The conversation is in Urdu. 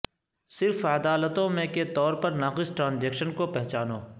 صرف عدالتوں میں کے طور پر ناقص ٹرانزیکشن کو پہچانو